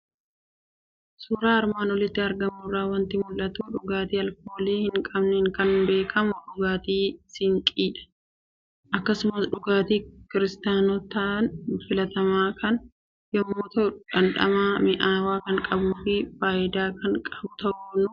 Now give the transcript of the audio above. Suuraa armaan olitti argamu irraa waanti mul'atu; dhugaati alkoolii hin qabneen kan beekamu dhugaati Sinqiidha. Akkasumas dhugaati kiristaanotaan filatamaa kan yommuu ta'u, dhamdhama mi'awwan kan qabufi faayida kan qabu ta'uu nu hubachiisudha.